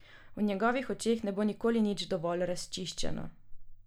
V njegovih očeh ne bo nikoli nič dovolj razčiščeno.